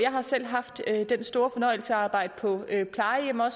har selv haft den store fornøjelse at arbejde på et plejehjem og